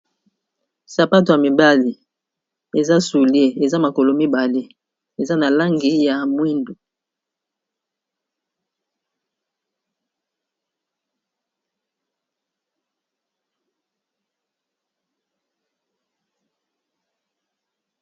Sapato ya mibale, eza soulier eza makolo mibale eza na langi ya mwindu.